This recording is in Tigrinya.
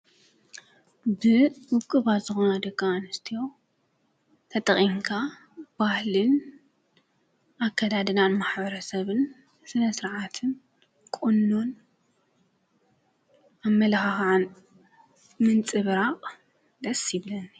በውቅባት ዝኮነ ደቂ ኣንስትዮ ተጠቂምካ ባህሊን፣ ኣከዳድና ማሕበረሰብን፣ ስነ ስርዓትን ቁኖን ኣመለካክዓን ምንፅብራቅ ደስ ይብለኒ ።